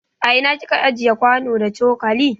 A ina kika ajiye kwano da coƙali?